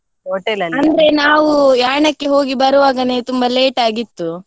ಅಂದ್ರೆ ನಾವು Yaana ಕ್ಕೆ ಹೋಗಿ ಬರುವಾಗನೆ ತುಂಬಾ late ಆಗಿತ್ತು.